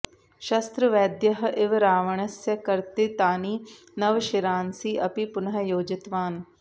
शस्त्रवैद्यः इव रावण्स्य कर्तितानि नव शिरांसि अपि पुनः योजितवान्